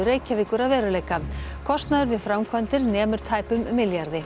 Reykjavíkur að veruleika kostnaður við framkvæmdir nemur tæpum milljarði